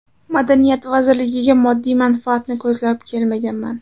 Madaniyat vazirligiga moddiy manfaatni ko‘zlab kelmaganman.